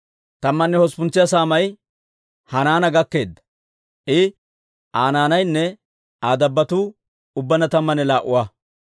Tammanne hosppuntsa saamay Hanaana gakkeedda; I, Aa naanaynne Aa dabbotuu ubbaanna tammanne laa"a.